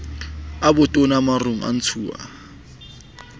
a botona marong a ntshuwang